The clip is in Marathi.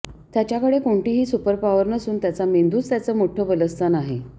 त्याच्याकडे कोणतीही सुपरपॉवर नसून त्याचा मेंदूच त्याचं मोठं बलस्थान आहे